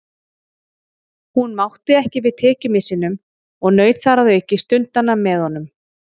Hún mátti ekki við tekjumissinum og naut þar að auki stundanna með honum.